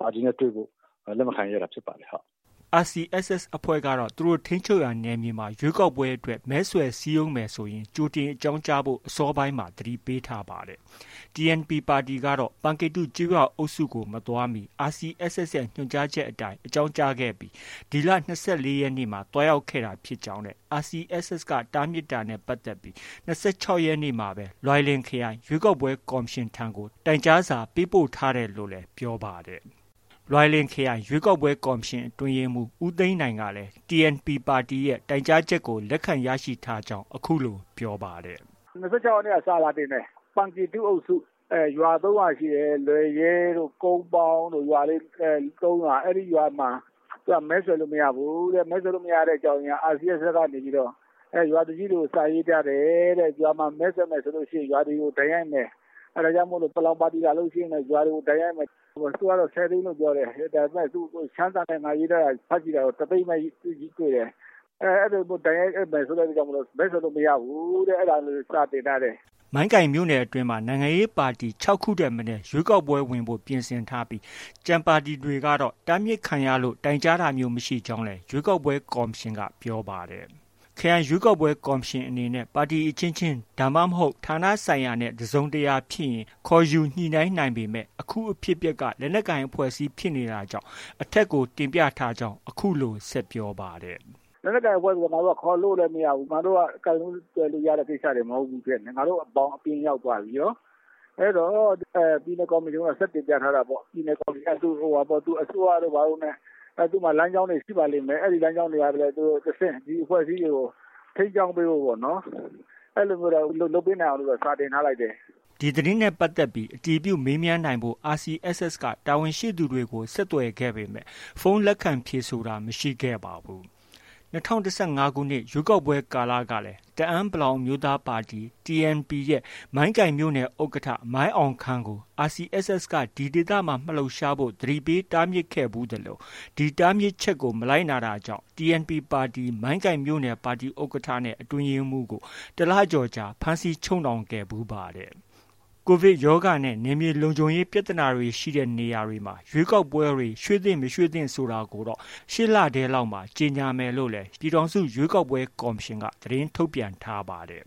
ပါတီနဲ့ တွေ့ဖို့ လက်မခံရဲတာဖြစ်ပါတယ်။” RCSS အဖွဲ့ကတော့ သူတို့ထိန်းချုပ်ရာ နယ်မြေမှာ ရွေးကောက်ပွဲအတွက် မဲဆွယ်စည်းရုံးမယ်ဆိုရင် ကြိုတင်အကြောင်းကြားဖို့ အစောပိုင်းမှာ သတိပေးထားပါတယ်။ TNP ပါတီကတော့ ပန်ကေတုကျေးရွာအုပ်စုကို မသွားမီမှာ RCSS ရဲ့ ညွှန်ကြားချက်အတိုင်း အကြောင်းကြားခဲ့ပြီး ဒီလ ၂၄ ရက်နေ့က သွားရောက်တာဖြစ်ကြောင်းနဲ့ RCSS တားမြစ်တာနဲ့ ပတ်သက်ပြီး ၂၆ ရက်နေ့မှာပဲ လွိုင်လင် ခရိုင် ရွေးကောက်ပွဲ ကော်မရှင်ထံကို တိုင်ကြားစာပေးပို့ထားတယ်လို့လည်း ပြောပါတယ်။ လွိုင်လင် ခရိုင်ရွေးကောက်ပွဲကော်မရှင် အတွင်းရေးမှူး ဦးသိန်းနိုင်ကလည်း TNP ပါတီရဲ့ တိုင်ကြားချက် လက်ခံရရှိထားကြောင်း အခုလို ပြောပါတယ်။ “၂၆ ရက်နေ့က စာတင်ထားတယ်။ ပန်ကေတုအုပ်စု ရွာ ၃ ရွာရှိတယ်။ လွယ်ရွဲှတို့၊ ကုန်းပေါင်းတို့ ရွာလေး ၃ ရွာ၊ အဲဒီရွာမှာ မဲဆွယ်လို့ မရဘူးတဲ့။ မဲဆွယ်လို့ မရတဲ့အကြောင်းရင်းက RCSS ကနေပြီးတော့ ရွာသူကြီးတွေကို စာရေးထားတယ်တဲ့။ ရွာမှာ မဲဆွယ်မယ်ဆိုရင် ရွာတွေကို ဒဏ်ရိုက်မယ်။ အဲဒါကြောင့်မို့ ပလောင်ပါတီ လာလို့ရှိရင် ရွာတွေကို ဒဏ်ရိုက်မယ်။ သူကတော့ ၁၀ သိန်းလို့ ပြောတယ်။ ဒါပေမဲ့ ရှမ်းစာနဲ့ ငါ ရေးထားတာ ဖတ်ကြည့်တာတော့ ၁၀၀,၀၀၀ ပဲ တွေ့တယ်။ အဲလိုမျိုးဒဏ်ရိုက်မယ်ဆိုလို့ မဲဆွယ်လို့ မရဘူးတဲ့ အဲ့ဒါ လေးကို စာတင်ထားတယ်။” မိုင်းကိုင်မြို့နယ်အတွင်းမှာ နိုင်ငံရေးပါတီ ၆ ခုထက်မနည်း ရွေးကောက်ပွဲဝင်ဖို့ ပြင်ဆင်ထားပြီး၊ ကျန်ပါတီတွေကတော့ တားမြစ်ခံရလို့ တိုင်ကြားတာမျိုး မရှိကြောင်းလည်း ရွေးကောက်ပွဲ ကော်မရှင်က ပြောပါတယ်။ ခရိုင်ရွေးကောက်ပွဲကော်မရှင်အနေနဲ့ ပါတီအဖွဲ့အစည်းအချင်းချင်း၊ ဒါမှမဟုတ် ဌာနဆိုင်ရာနဲ့ တစုံတရာဖြစ်ရင် ခေါ်ယူညှိနှိုင်းနိုင်ပေမဲ့ အခုအဖြစ်အပျက်က လက်နက်ကိုင်အဖွဲ့အစည်းဖြစ်နေတာကြောင့် အထက်ကို တင်ပြထားကြောင်း အခုလို ဆက်ပြောပါတယ်။ “လက်နက်ကိုင်အဖွဲ့ဆိုတော့ ငါတို့က ခေါ်လို့လည်း မရဘူး။ ငါတို့က ကိုင်လို့ တွယ်လို့ ရတဲ့ကိစ္စတွေ မဟုတ်ဘူးဖြစ်နေတယ်။ ငါတို့ ဘောင်အပြင်ရောက်သွားပြီ။ အဲတော့ ပြည်နယ် ကော်မရှင်ကိုတော့ ဆက်တင်ပြထားတာပေါ့။ ပြည်နယ်ကော်မရှင်က အစိုးရတို့ ဘာတို့နဲ့ သူ့မှာ လမ်းကြောင်းတွေ ရှိပါလိမ့်မယ်။ အဲဒီ လမ်းကြောင်းတွေက တဆင့် ဒီအဖွဲ့အစည်းတွေကို ထိန်းကြောင်းပေးဖို့ပေါ့နော်။ အဲလိုမျိုးတော့ လုပ်ပေးနိုင်အောင်လို့တော့ စာတင်ထားလိုက်တယ်။” ဒီသတင်းနဲ့ပတ်သက်ပြီး အတည်ပြုမေးမြန်းနိုင်ဖို့ RCSS က တာဝန်ရှိသူတွေကို ဆက်သွယ်ခဲ့ပေမဲ့ ဖုန်းလက်ခံ ဖြေဆိုတာ မရှိခဲ့ပါဘူး။ ၂၀၁၅ ခုနှစ်ရွေးကောက်ပွဲကာလကလည်း တအန်း(ပလောင်)အမျိုးသားပါတီ TNP မိုင်းကိုင်မြို့နယ် ဥက္ကဋ္ဌ မိုင်းအောင်ခန်းကို RCSS က ဒီဒေသမှာ မလှုပ်ရှားဖို့ သတိပေးတားမြစ်ခဲ့ဖူးသလို ဒီတားမြစ်ချက်ကို မလိုက်နာတာကြောင့် TNP ပါတီ မိုင်းကိုင်မြို့နယ် ပါတီဥက္ကဋ္ဌနဲ့ အတွင်းရေးမှူးကို တစ်လကျော်ကြာ ဖမ်းဆီးချုပ်နှောင်ခဲ့ဖူးပါတယ်။ ကိုဗစ်ကပ်ရောဂါနဲ့ နယ်မြေလုံခြုံရေး ပြဿနာတွေ ရှိတဲ့ နေရာတွေမှာ ရွေးကောက်ပွဲတွေ ရွှေ့သင့်၊ မသင့်ဆိုတာကိုတော့ ရှေ့လထဲလောက်မှာ ကြေညာမယ်လို့လည်း ပြည်ထောင်စု ရွေးကောက်ပွဲ ကော်မရှင်က သတင်းထုတ်ပြန်ထားပါတယ်